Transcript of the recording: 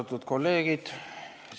Austatud kolleegid!